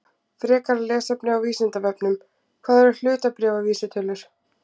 Frekara lesefni á Vísindavefnum: Hvað eru hlutabréfavísitölur?